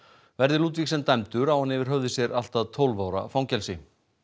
Verði Ludvigsen dæmdur á hann yfir höfði sér allt að tólf ára fangelsi